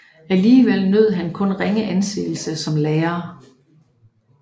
Alligevel nød han kun ringe anseelse som lærer